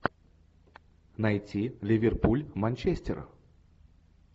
найти ливерпуль манчестер